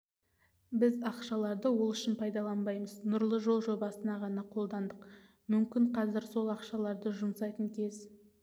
біз ақшаларды ол үшін пайдаланбаймыз нұрлы жол жобасына ғана қолдандық мүмкін қазір сол ақшаларды жұмсайтын кез